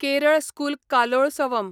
Kerala school Kalolsavam